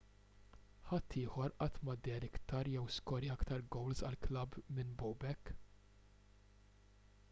ħadd ieħor qatt ma deher iktar jew skorja iktar gowls għall-klabb minn bobek